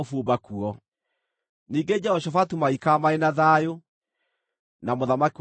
Ningĩ Jehoshafatu magĩikara marĩ na thayũ na mũthamaki wa Isiraeli.